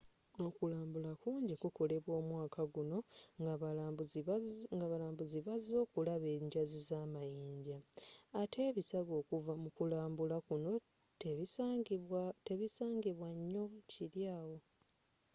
okulambula kungi kukolebwa omwaka gwona nga balambuzi bazze okulaba enjazzi za munyanja atte ebisago okuva mu kulambula kunno tebisangibwa nyo kiri awo